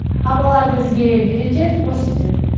апалар бізге үйретеді көрсетеді